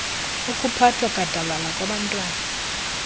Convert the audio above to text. okuphathwa gadalala kwabantwana